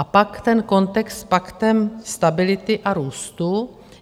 A pak ten kontext s Paktem stability a růstu.